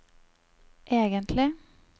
egentlig